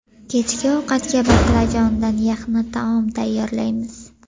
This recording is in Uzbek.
Kechki ovqatga baqlajondan yaxna taom tayyorlaymiz.